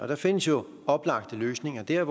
der findes jo oplagte løsninger der